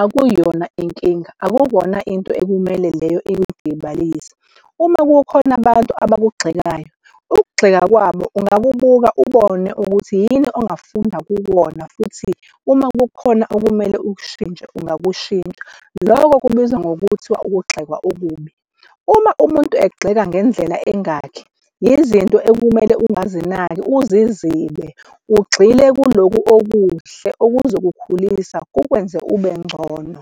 Akuyona inkinga. Akukona into ekumele leyo ikudikibalise uma kukhona abantu abantu abakugxekayo, ukugxeka kwabo ungakubuka ubone ukuthi yini ongafunda kuwona futhi uma kukhona okumele ukushintshe ungakushintsha. Lokho kubizwa ngokuthiwa ukugxekwa okubi uma umuntu egxeka ngendlela engakhe izinto ekumele ungazinaki uzizibe ugxile kulokhu okuhle okuzokukhulisa kukwenze ube ngcono.